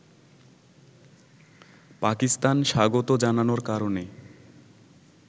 পাকিস্তান স্বাগত জানানোর কারণে